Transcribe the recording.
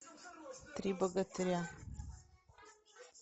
три богатыря